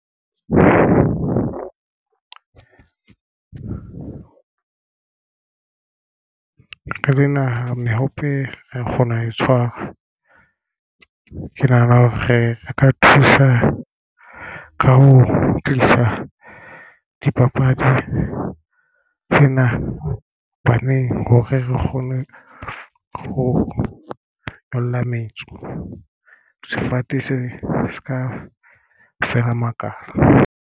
Re le naha mehope ra kgona ho e tshwara. Ke nahana hore re ka thusa ka ho tlisa dipapadi tsena. Hobaneng hore re kgone ho nyolla metso sefate se se ka feela makalo.